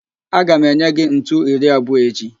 Aga m enye gị ntu iri abụọ echi